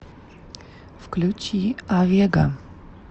включи авега